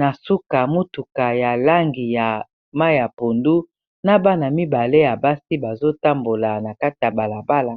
na suka motuka ya langi ya mai ya pondu, na bana mibale ya basi bazotambola na kata ya balabala.